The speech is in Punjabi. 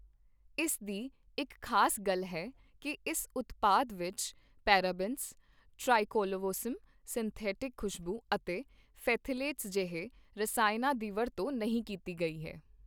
ਇਸ ਦੀ ਇੱਕ ਖ਼ਾਸ ਗੱਲ ਹੈ ਕੀ ਇਸ ਉਤਪਾਦ ਵਿੱਚ ਪੇਰਾਬੈਂਸ, ਟ੍ਰਾਈਕਲਵੋਸਮ, ਸਿੰਥੈਟਿਕ ਖੁਸ਼ਬੂ ਅਤੇ ਫਥੈਲੇਟਸ ਜਿਹੇ ਰਸਾਇਣਾਂ ਦੀ ਵਰਤੋਂ ਨਹੀਂ ਕੀਤੀ ਗਈ ਹੈ।